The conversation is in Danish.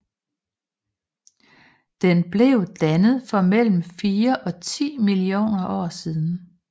Den blev dannet for mellem fire og ti millioner år siden